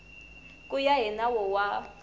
ku ya hi nawu wa